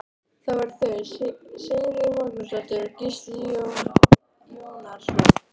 Það voru þau Sigríður Magnúsdóttir og Gísli Jónasson.